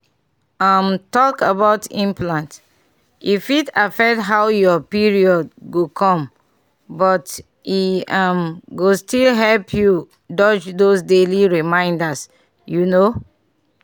um talk about implant e fit affect how your period go com but e um go still help you dodge those daily reminders you know um.